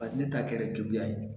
ne ta kɛra jigiya ye